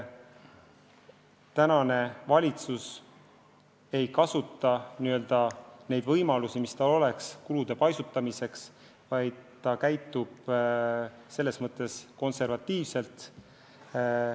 Praegune valitsus ei kasuta neid võimalusi, mis tal oleks kulude paisutamiseks, vaid käitub konservatiivselt.